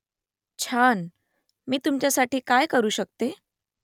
छान . मी तुमच्यासाठी काय करू शकते ?